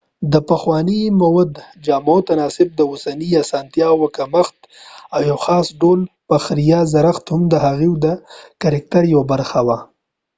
دپخوانی مود د جامو تناسب ،د اوسنی اسانتیا و کمښت ، او یو خاص ډول فخریه زړښت هم د هغوي د کرکتر یوه برخه وه